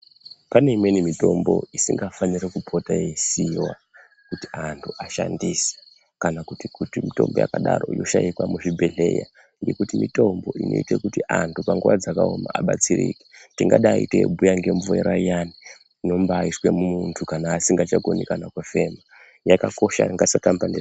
Pane imweni mitombo, isingafani kupota yeisiiwa, kuti anthu ashandise, kana kuti mitombo yakadaro inoshaikwa muzvibhedhlera, ngekuti mitombo inoite kuti anthu panguwa dzakaoma abatsirike, tingadai teibhuya ngemvura iyani, inombaaiswe mumunthu kana asingachakoni kufema.